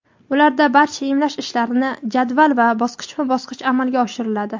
Ularda barcha emlash ishlarini jadval va bosqichma-bosqich amalga oshiriladi.